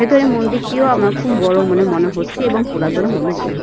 ভেতরে মন্দিরটিও আমার খুব বড় মনে মনে হচ্ছে এবং পুরাতন মনে মনে হ--